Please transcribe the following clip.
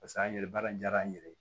Paseke an ye baara in diyara an yɛrɛ ye